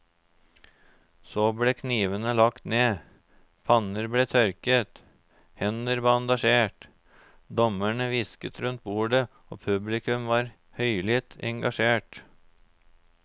Så ble knivene lagt ned, panner ble tørket, hender bandasjert, dommerne hvisket rundt bordet og publikum var høylytt engasjert.